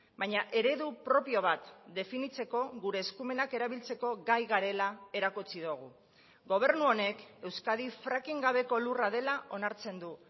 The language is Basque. baina eredu propio bat definitzeko gure eskumenak erabiltzeko gai garela erakutsi dugu gobernu honek euskadi fracking gabeko lurra dela onartzen du